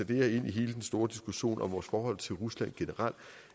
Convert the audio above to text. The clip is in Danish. det her ind i hele den store diskussion om vores forhold til rusland generelt